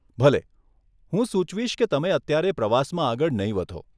ભલે. હું સુચવીશ કે તમે અત્યારે પ્રવાસમાં આગળ નહીં વધો.